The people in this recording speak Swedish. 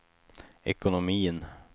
ekonomin